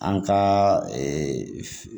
An ka